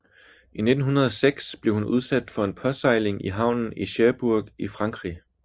I 1906 blev hun udsat for en påsejling i havnen i Cherbourg i Frankrig